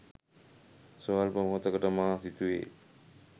ස්වල්ප මොහොතකට මා සිතුවේ